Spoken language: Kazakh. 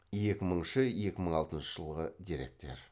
екі мыңыншы екі мың алтыншы жылғы деректер